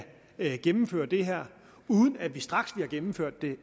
vi kan gennemføre det her uden at vi straks vi har gennemført det